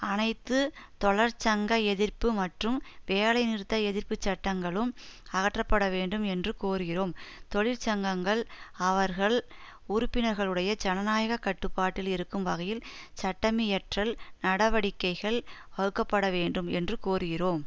அனைத்து தொழற்சங்க எதிர்ப்பு மற்றும் வேலைநிறுத்த எதிர்ப்பு சட்டங்களும் அகற்றப்பட வேண்டும் என்று கோருகிறோம் தொழிற்சங்கங்கள் அவர்கள் உறுப்பினர்களுடைய ஜனநாயக கட்டுப்பாட்டில் இருக்கும் வகையில் சட்டமியற்றல் நடவடிக்கைகள் வகுக்கப்படவேண்டும் என்றும் கோருகிறோம்